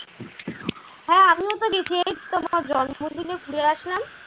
জন্মদিনে ঘুরে আসলাম ।